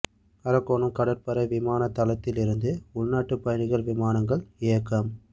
அரக்கோணம் கடற்படை விமான தளத்தில் இருந்து உள்நாட்டு பயணிகள் விமானங்கள் இயக்கம்